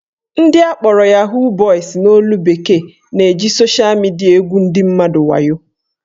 Ndị akpọrọ "Yahoo boys" n'olu bekee na-eji sosha midia egwu ndị mmadụ wayo